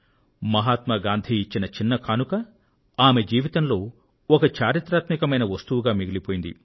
మహాత్మ గాంధీ గారు ఇచ్చిన చిన్ని కానుక ఆమె జీవితంలో ఒక చరిత్రాత్మకమైన వస్తువుగా మిగిలిపోయింది